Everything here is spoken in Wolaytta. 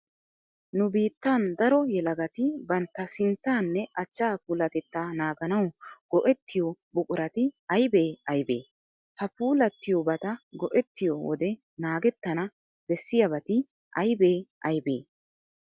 Nu biittan daro yelagati bantta sinttaanne achchaa puulatettaa naaganawu go"ettiyo buqurati aybee aybee? Ha puulattiyobata go"ettiyo wode naagettana bessiyabati aybee aybee?